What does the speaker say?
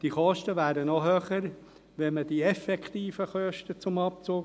Diese Kosten wären noch höher, wenn man den Abzug der effektiven Kosten zuliesse.